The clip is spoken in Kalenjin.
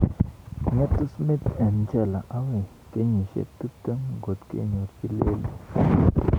Ng'etu Smith eng jela agoi kenyisiek 20 ngot kenyorji leluur.